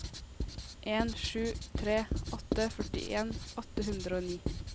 en sju tre åtte førtien åtte hundre og ni